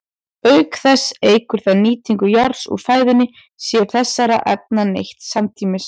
Auk þess eykur það nýtingu járns úr fæðunni sé þessara efna neytt samtímis.